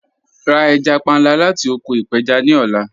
Ra ẹja panla lati oko ipeja ni ọla